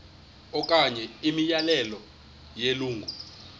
okanye imiyalelo yelungu